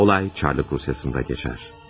Hadisə Çarlıq Rusiyasında baş verir.